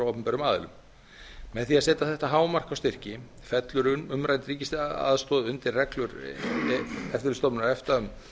opinberum aðilum með því að setja þetta hámark á styrki fellur umrædd ríkisaðstoð undir reglur eftirlitsstofnunar efta um